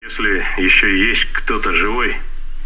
если ещё есть кто-то живой